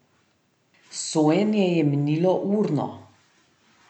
Sojenje je minilo urno.